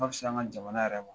An bɛ siran an ka jamana yɛrɛ